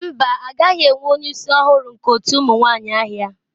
Mba a gaghị enwe onye isi ọhụrụ nke otu ụmụ nwanyị ahịa.